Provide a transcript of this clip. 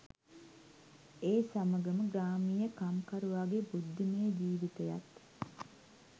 ඒ සමඟම ග්‍රාමීය කම්කරුවාගේ බුද්ධිමය ජිවිතයත්